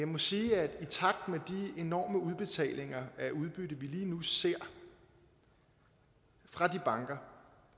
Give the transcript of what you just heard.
må sige at i enorme udbetalinger af udbytte vi lige nu ser fra de banker